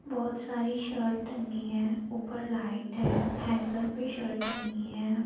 बहुत सारी शर्ट टंगी है ऊपर लाइट है हैंगर पे शर्ट टंगी है।